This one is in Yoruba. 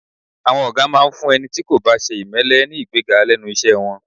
À̀wọn ọ̀gá máa ń fún ẹni tí kò bá ṣe ìmẹ́lẹ́ ní ìgbéga lẹ́nu iṣẹ́ wọn